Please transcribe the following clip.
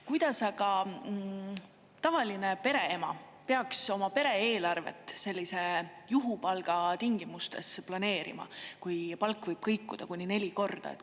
Kuidas aga tavaline pereema peaks oma pere eelarvet sellise juhupalga tingimustes planeerima, kui palk võib kõikuda kuni neli korda?